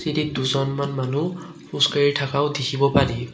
দুজনমান মানুহ খোজকাঢ়ি থকাও দেখিব পাৰি।